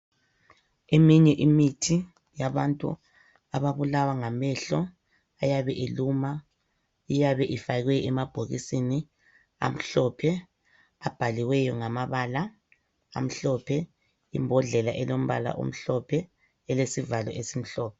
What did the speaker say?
Eminye imithi yabantu ababulawa ngamehlo eyabe iluma iyabe ifakwe emabhokisini amhlophe abhaliweyo ngamabala amhlophe, imbodlela elombala omhlophe elesivalo esimhlophe.